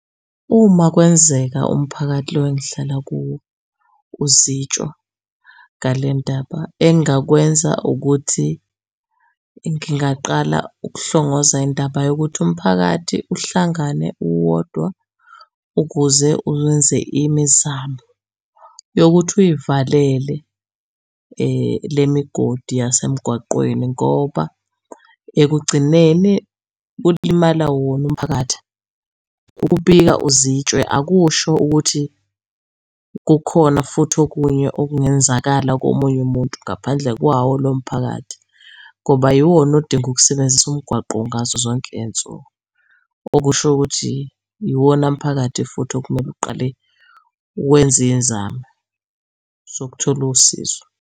Uma kwenzeka umphakathi lo engihlala kuwo uzitshwa ngale ndaba, engingakwenza ukuthi ngingaqala ukuhlongoza indaba yokuthi umphakathi uhlangane uwodwa ukuze uwenze imizamo yokuthi uyivalele le migodi yasemgwaqweni ngoba ekugcineni kulimala wona umphakathi. Ukubika uzitshwe akusho ukuthi kukhona futhi okunye okungenzakala komunye umuntu ngaphandle kwawo lo mphakathi. Ngoba yiwona odinga ukusebenzisa umgwaqo ngazo zonke iy'nsuku, okusho ukuthi iwona mphakathi futhi okumele uqale wenze iy'nzamo zokuthola usizo.